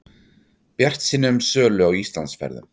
Bjartsýni um sölu á Íslandsferðum